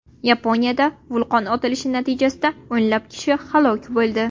Yaponiyada vulqon otilishi natijasida o‘nlab kishi halok bo‘ldi.